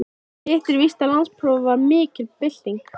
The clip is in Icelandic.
Hitt er víst að landsprófið var mikil bylting.